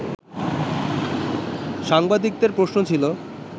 সাংবাদিকদের প্রশ্ন ছিল